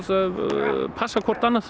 passa hvert annað